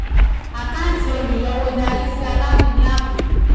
àkáǹtì olùyọwó dr sí sí aláwìn ní àbùkù